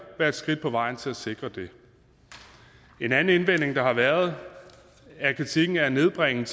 være et skridt på vejen til at sikre det en anden indvending der har været er kritikken af at nedbringe